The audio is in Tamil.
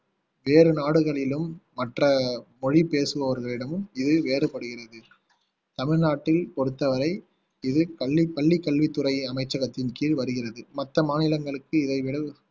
வேறு நாடுகளிலும் மற்ற மொழி பேசுபவர்களிடமும் இது வேறுபடுகிறது தமிழ்நாட்டைப் பொறுத்தவரை இது கல்வி பள்ளி கல்வித்துறை அமைச்சகத்தின் கீழ் வருகிறது மற்ற மாநிலங்களுக்கு இதை விட